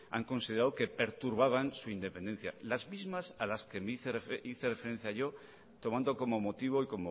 han considerado que perturbaban su independencia las mismas a las que hice referencia yo tomando como motivo y